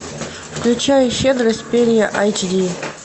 включай щедрость перрье эйч ди